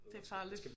Det farligt